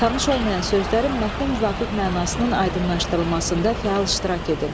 Tanış olmayan sözlərin mətnə müvafiq mənasının aydınlaşdırılmasında fəal iştirak edin.